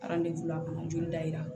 joli da yira